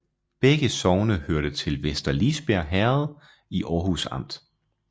Begge sogne hørte til Vester Lisbjerg Herred i Aarhus Amt